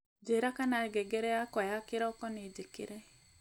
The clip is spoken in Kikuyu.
njira kana ngengere yakwa ya kiroko ni njikire